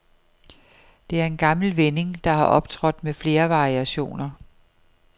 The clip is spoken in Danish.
Det er en gammel vending, der har optrådt med flere variationer.